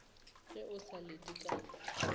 ge o sa lete ka